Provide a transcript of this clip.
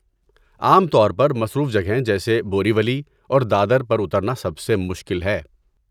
عام طور پر، مصروف جگہیں جیسے بوری ولی اور دادر پر اترنا سب سے مشکل ہے۔